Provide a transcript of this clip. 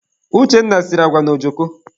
Uchenna siri agwa na ojoko.